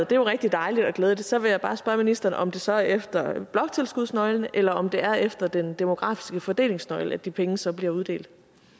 det jo rigtig dejligt og glædeligt og så vil jeg bare spørge ministeren om det så er efter bloktilskudsnøglen eller om det er efter den demografiske fordelingsnøgle at de penge så bliver uddelt